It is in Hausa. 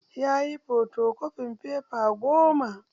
Yayi fotokofin fefa goma